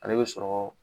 Ale bɛ sɔrɔ